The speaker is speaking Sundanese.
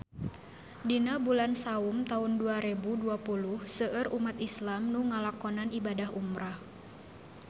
Dina bulan Saum taun dua rebu dua puluh seueur umat islam nu ngalakonan ibadah umrah